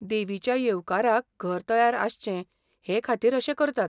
देवीच्या येवकाराक घर तयार आसचें हे खातीर अशें करतात.